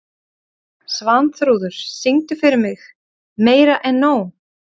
Svanþrúður, syngdu fyrir mig „Meira En Nóg“.